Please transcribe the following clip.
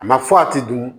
A ma fɔ a ti dun